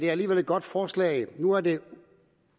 er alligevel et godt forslag nu er det